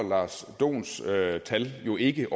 jo ikke